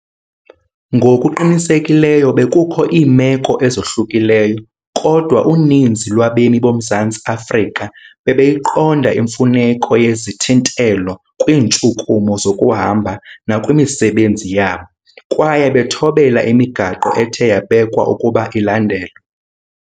Ngokuqinisekileyo bekukho iimeko ezohlukileyo, kodwa uninzi lwabemi boMzantsi Afrika bebeyiqonda imfuneko yezithintelo kwiintshukumo zokuhamba nakwimisebenzi yabo, kwaye bathobela imigaqo ethe yabekwa ukuba ilandelwe.